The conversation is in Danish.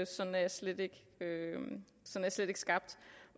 sådan er jeg slet ikke skabt